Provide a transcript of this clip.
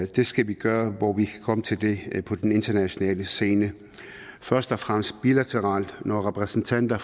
det skal vi gøre hvor vi kan komme til det på den internationale scene først og fremmest bilateralt når repræsentanter